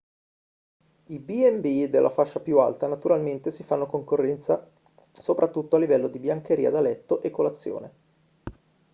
i b&b della fascia più alta naturalmente si fanno concorrenza soprattutto a livello di biancheria da letto e colazione